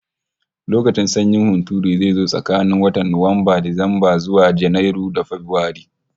Lokacin sanyin hunturu zai zo tsakanin watan Nuwamba, Disamba, zuwa Janairu da Fabrairu